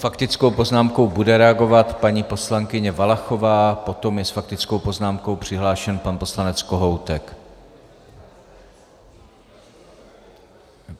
Faktickou poznámkou bude reagovat paní poslankyně Valachová, potom je s faktickou poznámkou přihlášen pan poslanec Kohoutek.